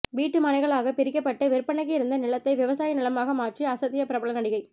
வீட்டு மனைகளாக பிரிக்கப்பட்டு விற்பனைக்கு இருந்த நிலத்தை விவசாய நிலமாக மாற்றி அசத்திய பிரபல நடிகை